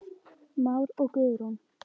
Már og Guðrún.